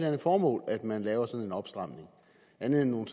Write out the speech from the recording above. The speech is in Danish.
andet formål at man laver sådan en opstramning andet end nogle